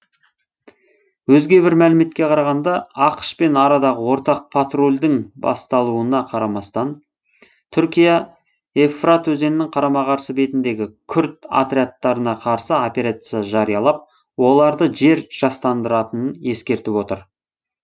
өзге бір мәліметке қарағанда ақш пен арадағы ортақ патрульдің басталуына қарамастан түркия евфрат өзенінің қарама қарсы бетіндегі күрд отрядтарына қарсы операция жариялап оларды жер жастандыратынын ескертіп отыр